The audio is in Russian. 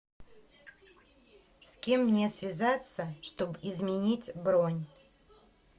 с кем мне связаться чтоб изменить бронь